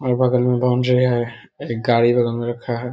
और बगल में बाउंड्री है एक गाड़ी बगल में रखा है|